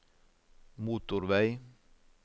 motorvei